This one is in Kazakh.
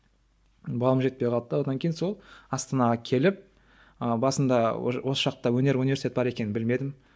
балым жетпей қалды да одан кейін сол астанаға келіп ы басында осы жақта өнер университеті бар екенін білмедім